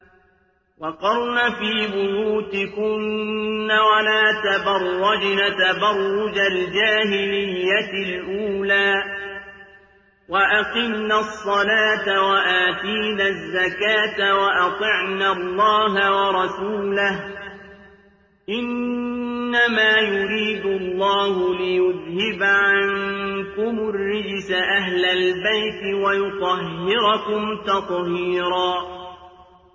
وَقَرْنَ فِي بُيُوتِكُنَّ وَلَا تَبَرَّجْنَ تَبَرُّجَ الْجَاهِلِيَّةِ الْأُولَىٰ ۖ وَأَقِمْنَ الصَّلَاةَ وَآتِينَ الزَّكَاةَ وَأَطِعْنَ اللَّهَ وَرَسُولَهُ ۚ إِنَّمَا يُرِيدُ اللَّهُ لِيُذْهِبَ عَنكُمُ الرِّجْسَ أَهْلَ الْبَيْتِ وَيُطَهِّرَكُمْ تَطْهِيرًا